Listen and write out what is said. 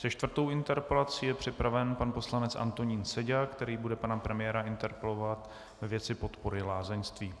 Se čtvrtou interpelací je připraven pan poslanec Antonín Seďa, který bude pana premiéra interpelovat ve věci podpory lázeňství.